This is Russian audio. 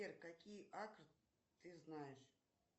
сбер какие акры ты знаешь